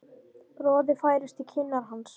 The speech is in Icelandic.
Roði færist í kinnar hans.